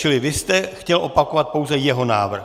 Čili vy jste chtěl opakovat pouze jeho návrh.